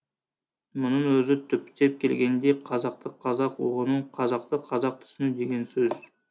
мұның өзі түптеп келгенде қазақты қазақ ұғыну қазақты қазақ түсіну деген сөз